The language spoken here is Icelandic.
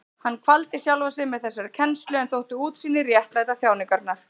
Hann kvaldi sjálfan sig með þessari kennslu en þótti útsýnið réttlæta þjáningarnar.